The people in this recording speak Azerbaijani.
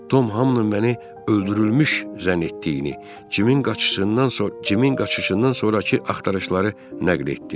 Tom Hamın məni öldürülmüş zənn etdiyini, Cimin qaçışından sonra, Cimin qaçışından sonrakı axtarışları nəql etdi.